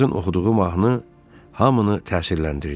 Aşpazın oxuduğu mahnı hamını təsirləndirdi.